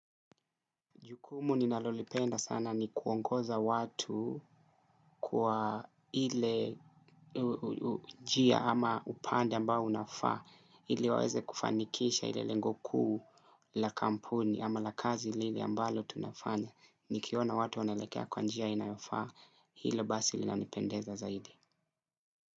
Jukumu ninalolipenda sana ni kuongoza watu kwa ile njia ama upande ambao unafaa ili waweze kufanikisha ile lengo kuu la kampuni ama la kazi lile ambalo tunafanya nikiona watu wanaelekea kwa njia inayofaa hile basi linanipendeza zaidi.